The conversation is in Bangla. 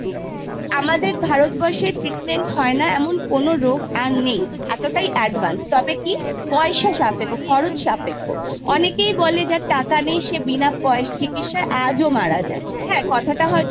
আমাদের ভারতবর্ষে treatment হয়না এমন কোন রোগ আর নেই এতটাই advanced তবে কি পয়সা সাপেক্খ্য খরচ সাপেক্খ্য। অনেকেই বলে যে যার টাকা নেই সে বিনা চিকিৎসায় আজও মারা যায়। কথাটা হয়ত